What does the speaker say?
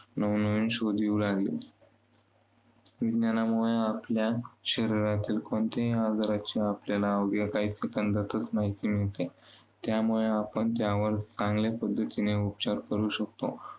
नवनवीन शोध येऊ लागले. विज्ञानामुळे आपल्या शरीरात कोणत्याही आजाराची आपल्याला अवघ्या काही Second तच माहिती मिळते. त्यामुळे आपण त्यावर चांगल्या पद्धतीने उपाचर करू शकतो.